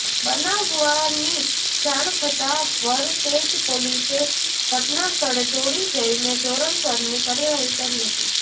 બનાવની જાણ થતાં વરતેજ પોલીસે ઘટનાસ્થળે દોડી જઈને ધોરણસરની કાર્યવાહી કરી હતી